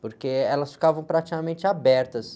porque elas ficavam praticamente abertas.